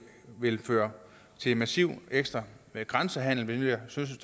vil føre til en massiv ekstra grænsehandel hvilket jeg synes